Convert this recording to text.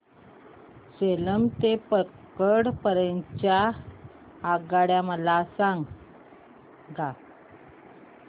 सेलम ते पल्लकड पर्यंत च्या आगगाड्या मला सांगा